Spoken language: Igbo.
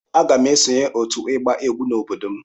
Aga m esonye otu ịgba egwu n'obodo m.